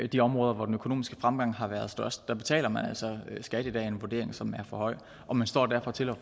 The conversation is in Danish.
de områder hvor den økonomiske fremgang har været størst der betaler man altså skat i dag af en vurdering som er for høj og man står derfor til